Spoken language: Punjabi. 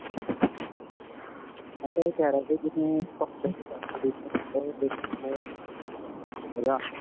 ਮੈਂ ਤਾਂ ਇਹ ਕਹ ਰਿਹਾ ਸੀ, ਜਿਵੇਂ ਭੰਗੜੇ 'ਚ competition ਹੁੰਦੇ ਮਜਾ ਆਉਂਦਾ ਹੈ.